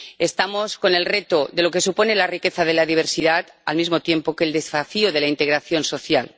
tenemos el reto de lo que supone la riqueza de la diversidad al mismo tiempo que el desafío de la integración social.